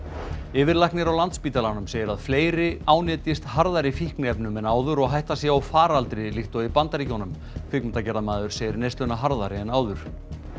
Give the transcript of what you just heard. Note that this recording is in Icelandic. yfirlæknir á Landspítalanum segir að fleiri ánetjist harðari fíknefnum en áður og hætta sé á faraldri líkt og í Bandaríkjunum kvikmyndagerðarmaður segir neysluna harðari en áður